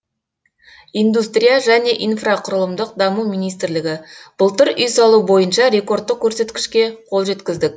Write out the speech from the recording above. индустрия және инфрақұрылымдық даму министрлігі былтыр үй салу бойынша рекордтық көрсеткішке қол жеткіздік